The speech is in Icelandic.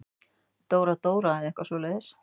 Dóra-Dóra eða eitthvað svoleiðis.